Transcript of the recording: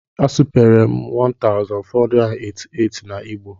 A supere m 1488 na Igbo